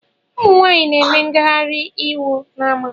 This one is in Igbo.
Ụmụnwaanyị na-eme ngaghari iwu n’ama